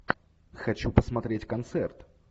хочу посмотреть концерт